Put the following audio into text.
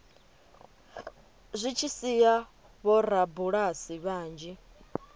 zwi tshi sia vhorabulasi vhanzhi